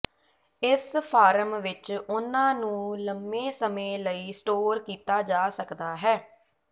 ਇਸ ਫਾਰਮ ਵਿੱਚ ਉਹਨਾਂ ਨੂੰ ਲੰਮੇ ਸਮੇਂ ਲਈ ਸਟੋਰ ਕੀਤਾ ਜਾ ਸਕਦਾ ਹੈ